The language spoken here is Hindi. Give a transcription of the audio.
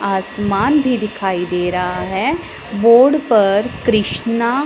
आसमान भी दिखाई दे रहा है बोर्ड पर कृष्णा--